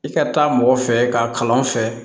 I ka taa mɔgɔ fɛ ka kalan fɛ